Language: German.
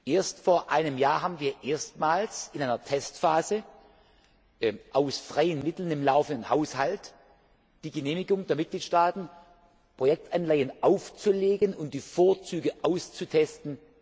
Erst vor einem Jahr haben wir erstmals in einer Testphase aus freien Mitteln im laufenden Haushalt die Genehmigung der Mitgliedstaaten bekommen, Projektanleihen aufzulegen, um ihre Vorzüge auszutesten.